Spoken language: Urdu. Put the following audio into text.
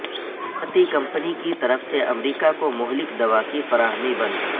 بھارتی کمپنی کی طرف سے امریکہ کو مہلک دوا کی فراہمی بند